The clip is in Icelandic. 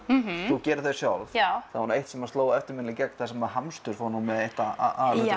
þú gerir þau sjálf já það var nú eitt sem sló eftirminnilega í gegn þar sem hamstur fór með eitt af